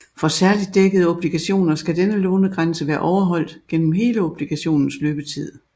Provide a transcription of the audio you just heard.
For særligt dækkede obligationer skal denne lånegrænse være overholdt gennem hele obligationens løbetid